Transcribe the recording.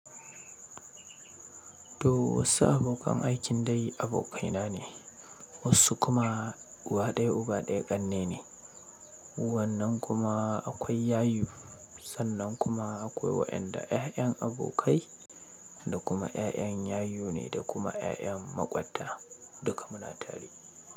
To wasu abokan aikin dai abokaina ne, wasu kuma uwa daya uba daya ƙanne ne, wannan kuma akwai yayu sannan kuma akwai waɗanda ƴaƴan abokai da kuma ƴaƴan yayu ne da kuma ƴaƴan maƙwabta duka muna tare.